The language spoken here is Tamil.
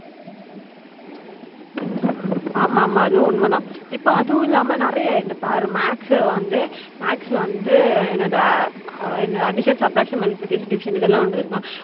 ஆமா ஆமா அதுவும் உண்ம தான் இப்ப அதுவும் இல்லாம நிறையா இங்க பாரு maths வந்து maths ல வந்து என்னாது அஹ் என்னாது addition subtraction multiplication division இதெல்லாம் உண்டு தெறியுமா